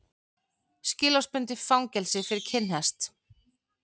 Skilorðsbundið fangelsi fyrir kinnhest